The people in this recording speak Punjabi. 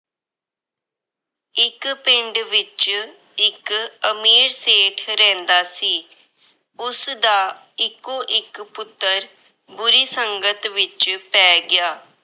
ਇੱਕ ਪਿੰਡ ਵਿੱਚ ਇੱਕ ਅਮੀਰ ਸੇਠ ਰਹਿੰਦਾ ਸੀ। ਉਸਦਾ ਇੱਕੋ-ਇੱਕ ਪੁੱਤਰ ਬੁਰੀ ਸੰਗਤ ਵਿੱਚ ਪੈ ਗਿਆ।